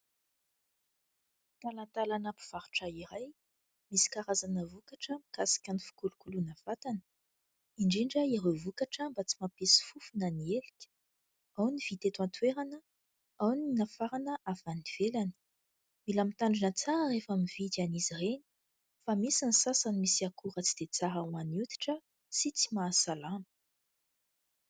Talatalana mpivarotra iray misy karazana vokatra mikasika ny fikolokoloana vatana indrindra ireo vokatra mba tsy mampisy fofona ny elika ao ny vita eto antoerana ao ny nafarana avy any ivelany mila mitandrina tsara rehefa mividy an'izy ireny fa misy ny sasany misy akora tsy dia tsara ho an'ny hoditra sy tsy mahasalama